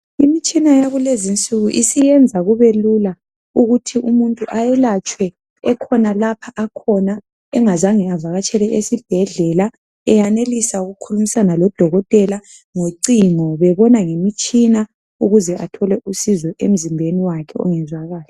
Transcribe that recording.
Imitshina yakulezinsuku isiyenza kubelula ukuthi umuntu ayelatshwe ekhona lapha akhona engazange avakatshele esibhedlela eyanelisa ukukhulumisana lodokotela ngocingo bebona ngemitshina ukuze athole usizo emzimbeni wakhe ongezwa kahle.